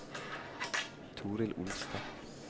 Torild Olstad